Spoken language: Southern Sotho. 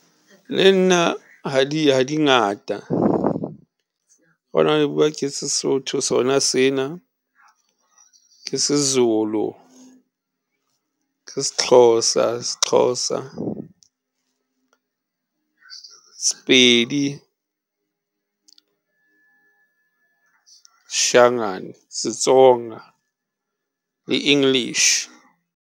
Le nna ha dingata bua ke seSotho sona sena, ke seZulu, ke seXhosa, seXhosa sePedi seShangaane, seTsonga le English.